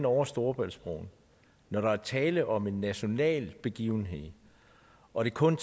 over storebæltsbroen når der er tale om en national begivenhed og det kun